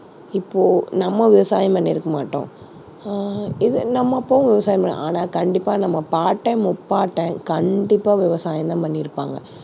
இப்போ நம்ம விவசாயம் பண்ணியிருக்க மாட்டோம். அஹ் இது நம்ம அப்பாவும் விவசாயம் பண்ணல, ஆனா கண்டிப்பா நம்ம பாட்டன், முப்பாட்டன் கண்டிப்பா விவசாயம் தான் பண்ணியிருப்பாங்க.